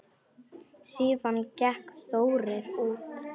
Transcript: Síðan gekk Þórir út.